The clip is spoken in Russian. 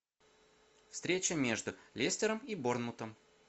встреча между лестером и борнмутом